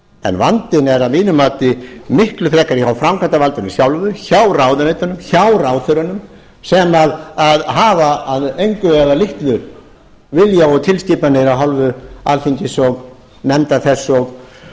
en vandinn er að mínu mati miklu frekar hjá framkvæmdarvaldinu sjálfu hjá ráðuneytunum hjá ráðherrunum sem hafa að engu eða litlu vilja og tilskipanir alþingis og nefnda þess og stofnana